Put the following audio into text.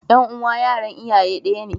Ƴan uwa yaran iyaye ɗaya ne.